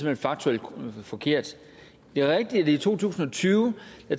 hen faktuelt forkert det er rigtigt at i to tusind og tyve